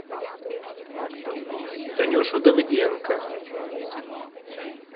танюшу давыденко